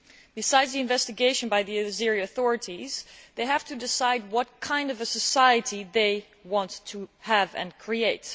Besides the investigation by the Azerbaijani authorities, they have to decide what kind of a society they want to have and create.